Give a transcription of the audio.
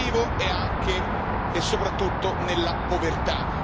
Il motivo è anche e soprattutto nella povertà.